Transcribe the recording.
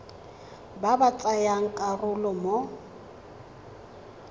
ba ba tsayang karolo mo